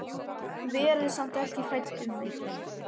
Verið samt ekki hrædd um mig.